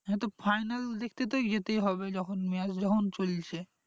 তো final দেখতে তো যেতেই হবে যখন match যখন চলছে